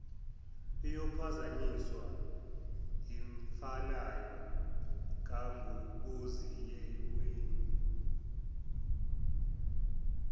iyophazanyiswa yimfanayo kanguboziyeweni